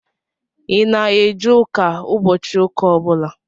Ị na-eje ụka ụbọchị ụka ọbụla?